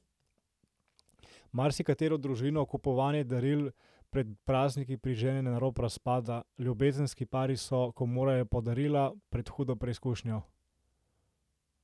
Marsikatero družino kupovanje daril pred prazniki prižene na rob razpada, ljubezenski pari so, ko morajo po darila, pred hudo preizkušnjo.